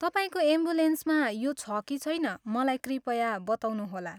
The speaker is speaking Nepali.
तपाईँको एम्बुलेन्समा यो छ कि छैन मलाई कृपया बताउनुहोला।